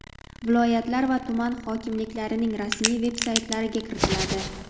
viloyatlar va tuman hokimliklarining rasmiy veb-saytlariga kiritiladi.